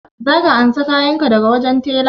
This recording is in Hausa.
Za ka ansa kayan ka daga wajen tela?